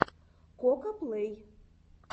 кокаплэй